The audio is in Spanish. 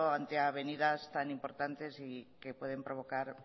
ante avenidas tan importantes y que pueden provocar